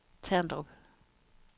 Terndrup